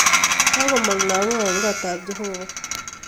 Kakomog lakok en kotab jeobo